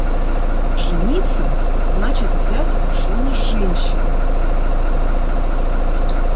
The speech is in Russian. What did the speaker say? жениться значит взять в жёны женщину